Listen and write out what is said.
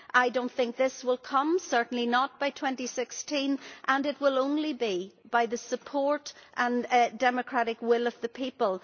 I do not think this will come certainly not by 2016 and it will only be by the support and democratic will of the people.